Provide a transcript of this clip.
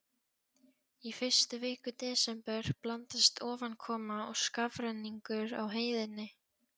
Í fyrstu viku desember blandast ofankoma og skafrenningur á heiðinni.